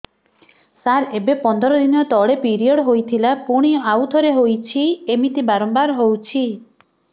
ସାର ଏବେ ପନ୍ଦର ଦିନ ତଳେ ପିରିଅଡ଼ ହୋଇଥିଲା ପୁଣି ଆଉଥରେ ହୋଇଛି ଏମିତି ବାରମ୍ବାର ହଉଛି